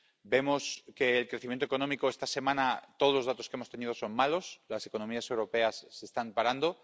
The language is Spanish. Vemos que, en el caso del crecimiento económico, esta semana todos los datos que hemos tenido son malos las economías europeas se están parando.